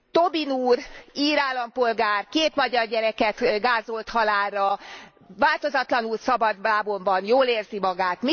Tobin úr, ír állampolgár, két magyar gyereket gázolt halálra, változatlanul szabadlábon van, jól érzi magát.